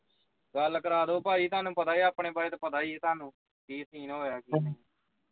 ਗੱਲ ਕਰਾ ਦੋ ਭਾਈ ਤੁਹਾਨੂੰ ਪਤਾ ਆ ਆਪਣੇ ਬਾਰੇ ਤੇ ਪਤਾ ਈ ਐ ਤੁਹਾਨੂੰ ਕੀ scene ਹੋ ਰਿਹਾ ਕੀ ਨਹੀਂ